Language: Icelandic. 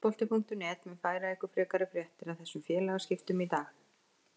Fótbolti.net mun færa ykkur frekari fréttir af þessum félagaskiptum í dag.